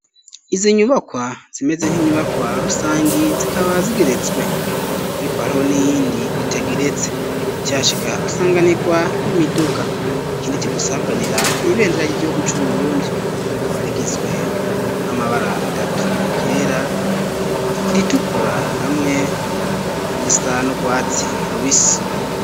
Izi nyubakwa zimeze nk'inyubakwa rusangi, zikaba zigeretswe ,ariko hariho n'iyindi itageretse ,ukihashika usanganirwa n'imiduga ,ikindi naco kigusanganira ,n'ibendera g'igihugu c' urundi rikaba rigizwe n'amabara atatu :iryera, iritukura, hamwe n'irisa n'urwatsi rubisi.